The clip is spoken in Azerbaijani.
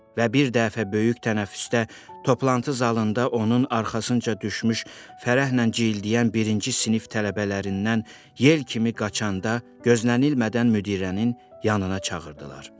Və bir dəfə böyük tənəffüsdə toplantı zalında onun arxasınca düşmüş fərəhlə cildləyən birinci sinif tələbələrindən yel kimi qaçanda gözlənilmədən müdirənin yanına çağırdılar.